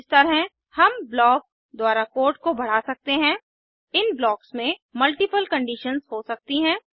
इस तरह हम ब्लॉक्स द्वारा कोड को बढ़ा सकते हैं इन ब्लॉक्स में मल्टीपल कंडीशंस हो सकती हैं